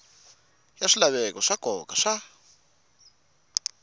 ya swilaveko swa nkoka swa